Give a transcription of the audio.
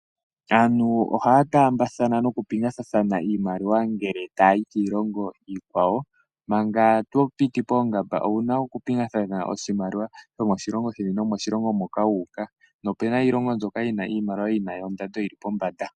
Aantu ohaya taambathana noku pingathathana iimaliwa ngele tayayi kiilongo iikwawo, manga to piti poongamba owuna oku pingathana oshimaliwa shomoshilongo sheni nomoshilongo moka wuuka, nopuna iilongo mbyono yina iimaliwa yina ondando yili pombanda.